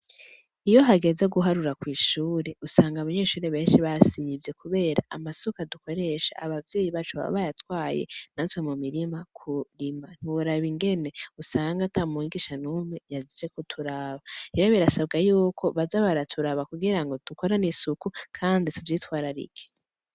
Iyo hageze guharura kw'ishure, usanga abanyeshure benshi basivye kubera amasuka dukoresha abavyeyi bacu baba bayatwaye natwe mu mirima kurima. Ntiworaba ingene usanga ata mwigisha n'umwe yaje kuturaba. Rero birasabwa yuko baza baraturaba kugira ngo dukorane isuku kandi tuvyitwararike.